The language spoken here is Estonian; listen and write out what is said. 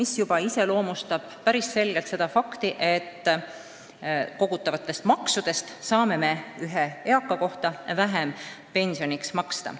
See illustreerib päris selgelt fakti, et kogutavatest maksudest saame ühe eaka kohta vähem pensioniks maksta.